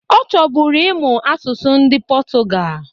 Ọ chọbụrụ ịmụ asụsụ ndị pọtụgal